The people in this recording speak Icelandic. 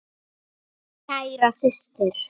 Kæra systir.